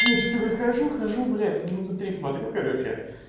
ну я что то выхожу хожу блядь минуты три смотрю короче